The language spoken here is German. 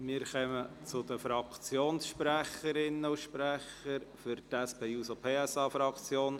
Wir kommen zu den Fraktionssprecherinnen und -sprechern: